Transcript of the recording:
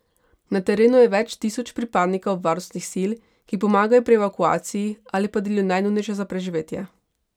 Na terenu je več tisoč pripadnikov varnostnih sil, ki pomagajo pri evakuaciji ali pa delijo najnujnejše za preživetje.